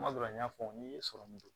Kuma dɔ la n y'a fɔ n'i ye sɔrɔmu don